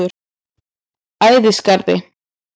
Ægisgarði